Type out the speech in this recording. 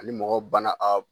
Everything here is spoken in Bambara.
Ani mɔgɔ bana